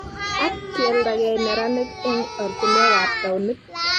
ak kialdagei neranik eng ortinwekab taunit